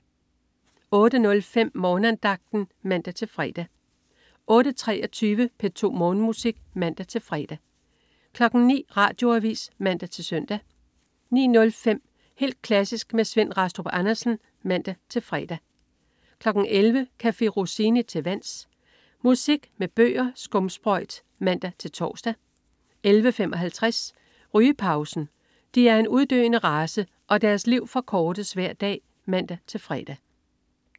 08.05 Morgenandagten (man-fre) 08.23 P2 Morgenmusik (man-fre) 09.00 Radioavis (man-søn) 09.05 Helt klassisk med Svend Rastrup Andersen (man-fre) 11.00 Café Rossini til vands. Musik med bølger og skumsprøjt (man-tors) 11.55 Rygepausen. De er en uddøende race, og deres liv forkortes hver dag (man-fre)